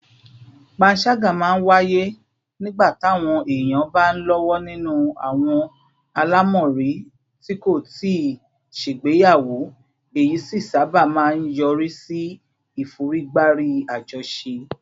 panṣaga máa ń wáyé nígbà táwọn èèyàn bá ń lọ́wọ́ nínú àwọn àlámọ̀rí tí kò tíì ṣègbéyàwó, èyí sì sábà máa ń yọrí sí ìforígbárí àjọṣe